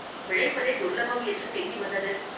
பிழைப்பதே துர்லபம் என்று செய்தி வந்தது.